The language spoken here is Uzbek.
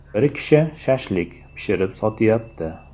Bir kishi ‘shashlik’ pishirib sotyapti.